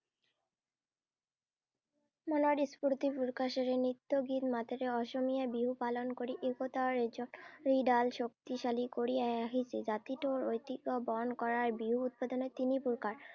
মনৰ স্ফূৰ্তি প্ৰকাশেৰে নৃত্য গীত মাতেৰে অসমীয়াই বিহু পালন কৰি একতাৰ এৰ জৰীডাল শক্তিশালী কৰি আহ ৰাখিছে। জাতিটোৰ ঐতিহ্য বহন কৰা বিহু প্ৰধানতে তিনি প্ৰকাৰ।